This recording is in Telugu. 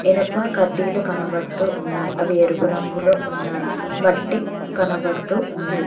ఇనప కడ్డీలు కనబడుతున్నారు అవి ఎరుపు రంగులో ఉన్నాయి మట్టి కనబడుతూ ఉంది.